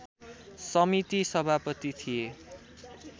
समिति सभापति थिए